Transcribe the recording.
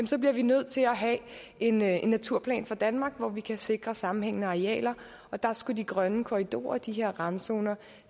så bliver vi nødt til at have en naturplan for danmark hvor vi kan sikre sammenhængende arealer der skulle de grønne korridorer de her randzoner